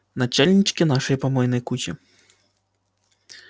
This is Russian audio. начальнички нашей помойной кучи